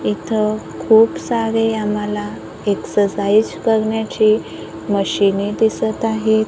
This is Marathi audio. इथं खूप सारे आम्हाला एक्ससाइज करण्याची मशीने दिसत आहेत.